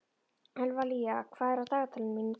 Evlalía, hvað er á dagatalinu mínu í dag?